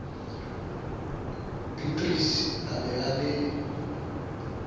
beatrice a be a le